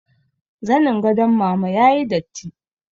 Zanin gadon mama ya yi datti